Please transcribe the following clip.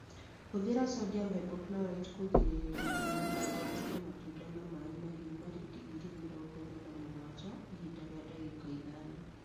Hũthĩra sodium hypochlorite kũgirĩrĩria igunyũ na ũthondeje matunda na maĩ mahiũ marĩ digirii mĩrongo ĩna na mũgwanja ihinda rĩa ndagĩka ithano